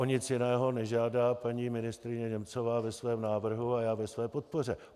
O nic jiného nežádá paní ministryně Němcová ve svém návrhu a já ve své podpoře.